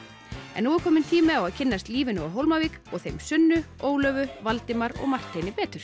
en nú er kominn tími á að kynnast lífinu á Hólmavík og þeim Sunnu Ólöfu Valdimar og Marteini betur